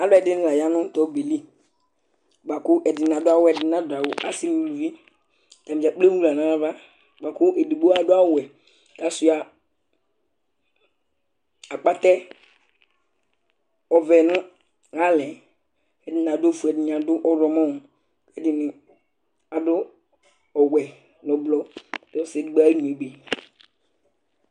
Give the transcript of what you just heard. Alʋɛdìní la ya nu tu ɔbɛli bʋakʋ ɛdiní adʋ awu ɛdiní nadu awu Asi nʋ ʋlʋvi Atani dza kplo emu nʋ aɣla nʋ ava bʋakʋ ɛdigbo adu awu wɛ kʋ asʋia akpɛtɛ ɔvɛ nʋ lalɛ Ɛdiní adu ɔfʋe Ɛdiní adu ɔwlɔmɔ Ɛdiní ɔwɛ nʋ ɛblɔ kʋ ɔsi ɛdigbo ayʋ ɛnyɔ yɛ ebe